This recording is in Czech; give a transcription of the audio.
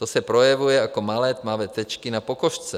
To se projevuje jako malé tmavé tečky na pokožce.